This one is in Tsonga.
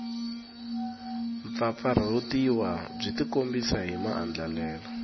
mpfampfarhutiwa byi tikombisa hi maandlalelo